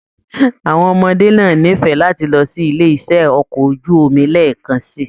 Àwọn ọmọdé náà n'ifẹ láti lọ sí ilé iṣẹ okọ̀ ojú omi lẹẹkan sí.